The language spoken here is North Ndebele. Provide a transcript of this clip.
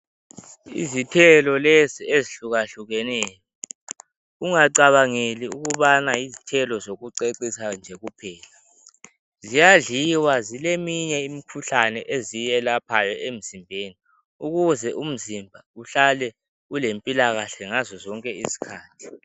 Izithelo lezi ezihlukahlukeneyo ungacabangeli ukubana yizithelo zokucecisa nje kuphela, ziyadliwa zileminye imikhuhlane eziyelaphayo emzimbeni ukuze umzimba uhlale ilempilakahle ngazo zonke izikhathi.